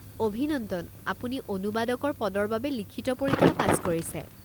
অভিনন্দন! আপুনি অনুবাদকৰ পদৰ বাবে লিখিত পৰীক্ষা পাছ কৰিছে।